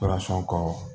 kɔ